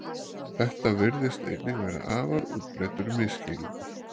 Þetta virðist einnig vera afar útbreiddur misskilningur.